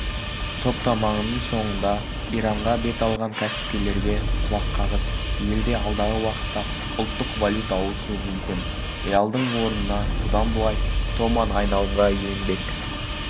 топтаманың соңында иранға бет алған кәсіпкерлерге құлаққағыс елде алдағы уақытта ұлттық валюта ауысуы мүмкін риалдың орнына бұдан былай томан айналымға енбек